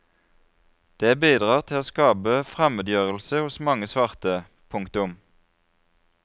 Det bidrar til å skape fremmedgjørelse hos mange svarte. punktum